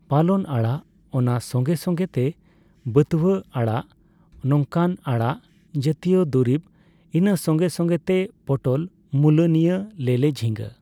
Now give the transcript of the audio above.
ᱯᱟᱞᱚᱱ ᱟᱲᱟᱜ, ᱚᱱᱟ ᱥᱚᱸᱜᱮᱼᱥᱚᱸᱜᱮ ᱛᱮ ᱵᱷᱟᱹᱛᱣᱟᱹ ᱟᱲᱟᱜ᱾ ᱱᱚᱝᱠᱟᱱᱟᱜ ᱟᱲᱟᱜ ᱡᱟᱛᱤᱭᱚ ᱫᱩᱨᱤᱵ ᱤᱱᱟᱹ ᱥᱚᱸᱜᱮᱼᱥᱚᱸᱜᱮ ᱛᱮ ᱯᱚᱴᱚᱞ, ᱢᱩᱞᱳ ᱱᱤᱭᱟᱹ ᱞᱮᱞᱮ ᱡᱷᱤᱸᱜᱟᱹ